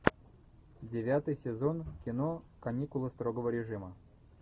девятый сезон кино каникулы строгого режима